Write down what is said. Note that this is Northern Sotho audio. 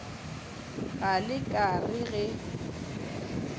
ge le ka re ge